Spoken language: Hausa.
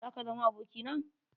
Zaka zama aboki na?